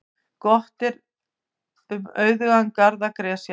Gott er um auðugan garð að gresja.